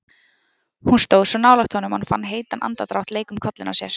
Hún stóð svo nálægt honum að hún fann heitan andardrátt leika um kollinn á sér.